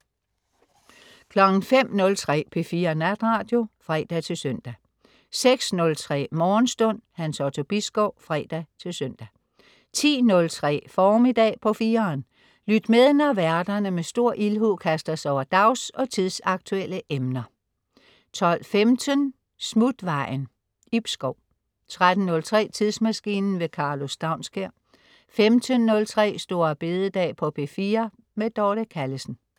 05.03 P4 Natradio (fre-søn) 06.03 Morgenstund. Hans Otto Bisgaard (fre-søn) 10.03 Formiddag på 4'eren. Lyt med, når værterne med stor ildhu kaster sig over dags- og tidsaktuelle emner 12.15 Smutvejen. Ib Schou 13.03 Tidsmaskinen. Karlo Staunskær 15.03 St. Bededag på P4. Dorte Callesen